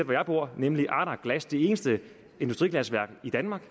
hvor jeg bor nemlig ardagh glass det eneste industriglasværk i danmark